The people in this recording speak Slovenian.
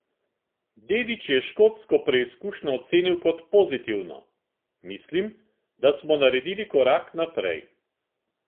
Dedić je škotsko preizkušnjo ocenil kot pozitivno: "Mislim, da smo naredili korak naprej.